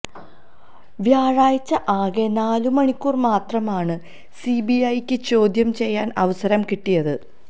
വ്യാഴാഴ്ച ആകെ നാലുമണിക്കൂര് മാത്രമാണു സിബിഐക്ക് ചോദ്യം ചെയ്യാന് അവസരം കിട്ടിയത്